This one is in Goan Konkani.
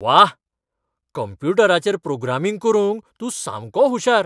व्वा! कंप्युटराचेर प्रोग्रामिंग करूंक तूं सामको हुशार .